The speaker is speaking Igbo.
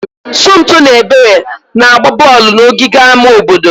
Somto na Ebere na-agba bọọlụ n'ogige ama obodo.